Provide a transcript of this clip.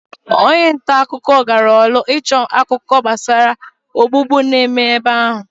Onye nta akụkọ gara orlu ịchọ akụkọ gbasara ogbugbu na-eme ebe ahụ.